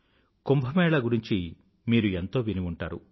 కుంభ మేళా గురించి మీరు ఎంతో విని ఉంటారు